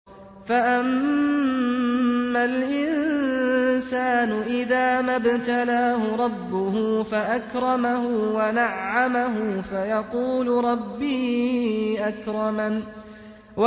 فَأَمَّا الْإِنسَانُ إِذَا مَا ابْتَلَاهُ رَبُّهُ فَأَكْرَمَهُ وَنَعَّمَهُ فَيَقُولُ رَبِّي أَكْرَمَنِ